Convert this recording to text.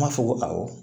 N b'a fɔ ko awɔ